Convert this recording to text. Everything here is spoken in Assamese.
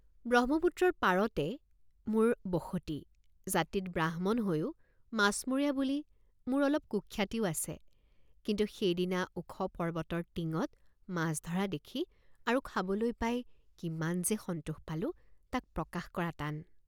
ব্ৰহ্মপুত্ৰৰ পাৰতে মোৰ বসতি জাতিত ব্ৰাহ্মণ হৈয়ো মাছমৰীয়া বুলি মোৰ অলপ কুখ্যাতিও আছে কিন্তু সেইদিনা ওখ পৰ্বতৰ টিঙত মাছ ধৰা দেখি আৰু খাবলৈ পাই কিমান যে সন্তোষ পালোঁ তাক প্ৰকাশ কৰা টান।